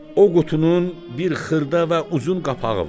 O qutunun bir xırda və uzun qapağı var.